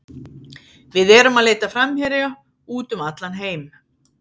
Við erum að leita að framherja út um allan heim.